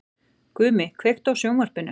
Gumi, kveiktu á sjónvarpinu.